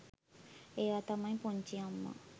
එයා තමයි පුංචි අම්මා